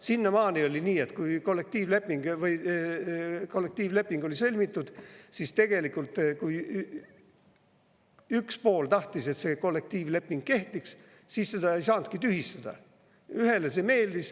Sinnamaani oli nii, et kui kollektiivleping oli sõlmitud, siis tegelikult, kui üks pool tahtis, et see kollektiivleping kehtiks, siis seda ei saanudki tühistada, kui ühele see meeldis.